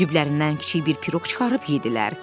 Ciblərdən kiçik bir piroq çıxarıb yeddilər.